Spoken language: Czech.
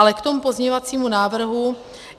Ale k tomu pozměňovacímu návrhu.